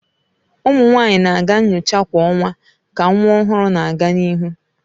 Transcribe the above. Ụmụ nwanyị na-aga nyocha kwa ọnwa ka nwa ọhụrụ na-aga n'ihu.